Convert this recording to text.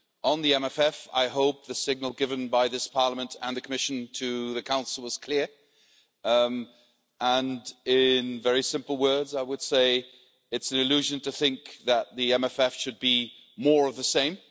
On the MFF, I hope the signal given by this Parliament and the Commission to the Council was clear and in very simple words, I would say it's an illusion to think that the MFF should be more of the same.